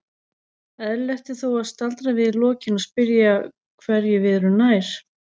Eðlilegt er þó að staldra við í lokin og spyrja hverju við erum nær.